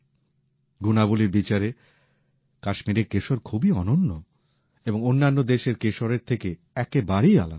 গুণাবলীর বিচারে কাশ্মীরের কেশর খুবই অনন্য এবং অন্যান্য দেশের কেশরের থেকে একেবারেই আলাদা